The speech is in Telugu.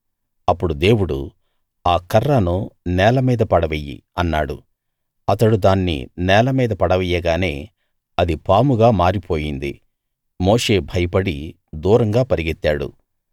అప్పుడు దేవుడు ఆ కర్రను నేల మీద పడవెయ్యి అన్నాడు అతడు దాన్ని నేల మీద పడవెయ్యగానే అది పాముగా మారిపోయింది మోషే భయపడి దూరంగా పరిగెత్తాడు